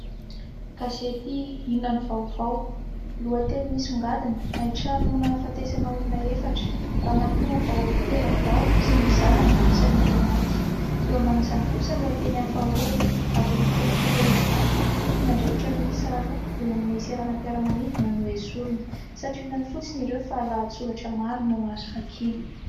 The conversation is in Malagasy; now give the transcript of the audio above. Gazety "Inona no vaovao". Lohateny misongadina : "Haintrano nahafatesana olona efatra. Ramatoa vao terabao sy ny zanany isan'ireo maty". Eo ambanin'izany kosa lohateny hafa hoe "Ady amin'ny kolokolo eny Ivato, tompon'andraikitra miisa roa eny amin'ny seranampiara-manidina no hoesorina". Santionany fotsiny ireo fa lahatsoratra maro no azo vakiana.